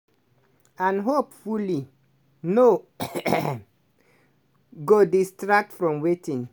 and hopefully no go distract from wetin